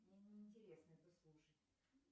мне не интересно это слушать